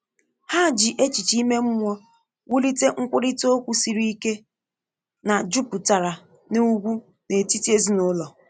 Ha ji echiche ime mmụọ wulite nkwurịta okwu siri ike na jupụtara n’ugwu n’etiti ezinụlọ